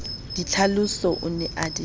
ditlhaloso o ne a di